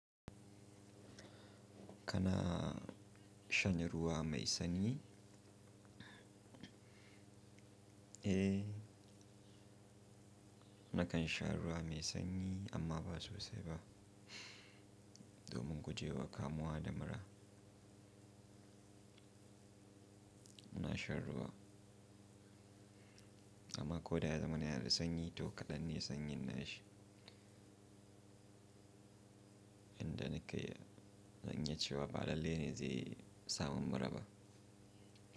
Kana shanye ruwa mai sanyi? Eh, nakan sha ruwa mai sanyi amma ba sosai ba. Domin ku je wa kamuwa da mura. Muna shan ruwa, amma ko da ya zaman ne yana da sanyi toh kaɗan ne sanyin nashi. Inda nake zan iya ce wa ba lele ne zai sa mun mura ba.